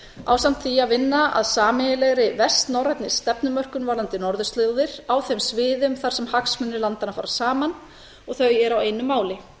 ásamt því að vinna að sameiginlegri vestnorrænni stefnumörkun varðandi norðurslóðir á þeim sviðum þar sem hagsmunir landanna fara saman og þau eru á einu máli